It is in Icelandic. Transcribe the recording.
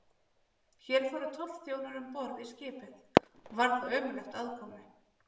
Hér fóru tollþjónar um borð í skipið, og var þar ömurlegt aðkomu.